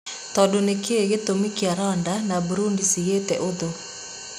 Tondũnĩkĩĩ gĩtũmi kĩa Rwanda na Burudi cigĩte ũthũ?